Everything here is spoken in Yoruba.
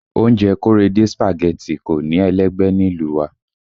Oúnjẹ Korede Spaghetti kò ní ẹlẹ́gbẹ́ nílùú wa